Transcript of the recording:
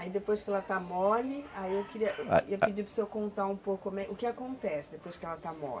Aí depois que ela está mole, aí eu queria, eu ia pedir para o senhor contar um pouco como é, o que acontece depois que ela está mole?